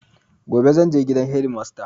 Gobe zanje gidan hedimasta